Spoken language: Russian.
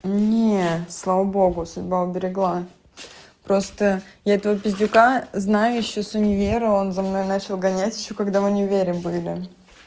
нет слава богу судьба уберегла просто я этого пиздюка знаю ещё с универа он за мной начал гонять ещё когда в универе были